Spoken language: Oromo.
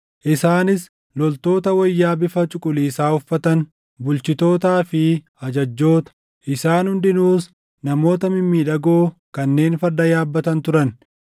isaanis loltoota wayyaa bifa cuquliisaa uffatan, bulchitootaa fi ajajjoota; isaan hundinuus namoota mimmiidhagoo kanneen farda yaabbatan turan.